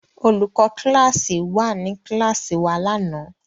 Olùkọ́ kíláàsì wà ní kíláàsì wa lánàá?